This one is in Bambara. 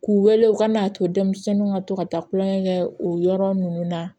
K'u wele u ka na to denmisɛnninw ka to ka taa kulonkɛ kɛ o yɔrɔ ninnu na